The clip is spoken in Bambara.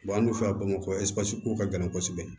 an dun fɛ bamakɔ ɛsipesiko ka gɛlɛn kosɛbɛ